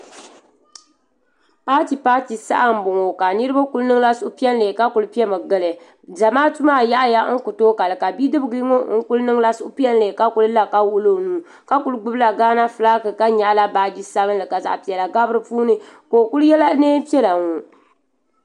paati paati saha n boŋo ka niraba ku niŋla suhupiɛlli ka ku piɛmi gili zamaatu maa yaɣaya ku tooi kali ka bidib ŋɔ ku niŋla suhupiɛlli ka ku wuɣula o nuu ka ku gbubila gaana fulaaki ka nyaɣa baaji sabinli ka zaɣ piɛla gabi di puuni ka o ku yɛla neen piɛla ŋɔ